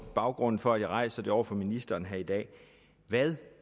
baggrunden for at jeg rejser det over for ministeren her i dag hvad